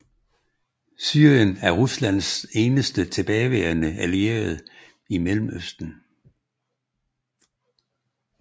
Syrien er Ruslands eneste tilbageværende allierede i Mellemøsten